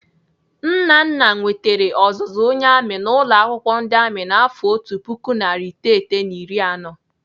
Nnana nwetere ọzụzụ onye amị n'ụlọ akwụkwọ ndị amị n'afọ otu puku narị iteghete na iri anọ.